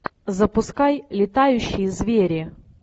запускай летающие звери